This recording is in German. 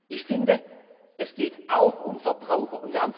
Ich finde, es geht auch um Verbraucher.